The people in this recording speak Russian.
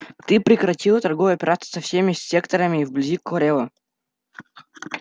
ты прекратил торговые операции со всеми секторами вблизи корела